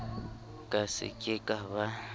ka se ke ka ba